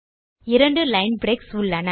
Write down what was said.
2 line breaks உள்ளன